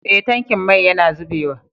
Eh tankin mai yana zubewa.